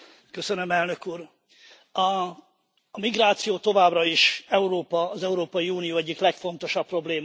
Elnök Úr, a migráció továbbra is Európa, az Európai Unió egyik legfontosabb problémája.